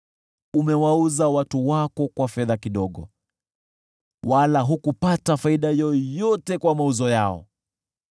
Umewauza watu wako kwa fedha kidogo, wala hukupata faida yoyote kwa mauzo yao.